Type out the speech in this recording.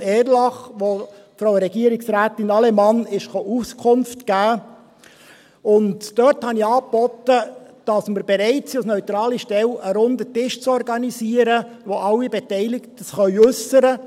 Region Erlach, an der Frau Regierungsrätin Allemann Auskunft gab, und dort bot ich an, dass wir bereit sind, als neutrale Stelle einen runden Tisch zu organisieren, an dem sich alle Beteiligten äussern können.